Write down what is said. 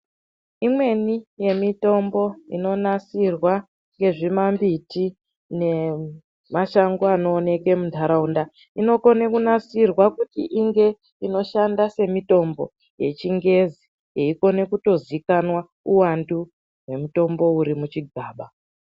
Imweni yemitombo inonasirwa ngezvima mbiti nemashango anowonekwa muntaraunda inokona kunasirwa kuti inge inoshanda semutombo yechingezi yeikona kutozikanwa uwandu hwemutombo uri muchigaba.